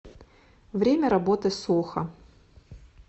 время работы сохо